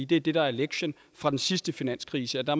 det er det der er lektien fra den sidste finanskrise og der